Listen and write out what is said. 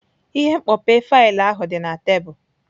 Ihe mkpope faịlụ ahụ dị na tebụl.